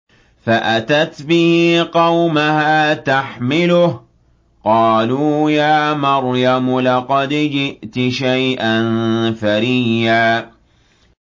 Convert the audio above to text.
فَأَتَتْ بِهِ قَوْمَهَا تَحْمِلُهُ ۖ قَالُوا يَا مَرْيَمُ لَقَدْ جِئْتِ شَيْئًا فَرِيًّا